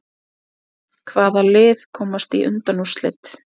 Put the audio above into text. Hvaða lið komast í undanúrslit?